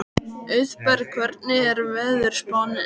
Auðberg, hvernig er veðurspáin?